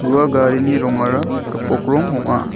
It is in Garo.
ua garini rongara gipok rong ong·a.